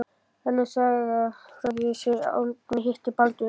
Önnur saga segir frá því þegar Árni hitti Baldvin